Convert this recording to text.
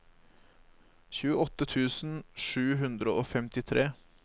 tjueåtte tusen sju hundre og femtitre